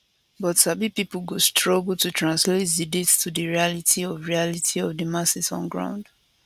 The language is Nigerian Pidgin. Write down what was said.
but sabi pipo go struggle to translate di date to di reality of reality of di masses on ground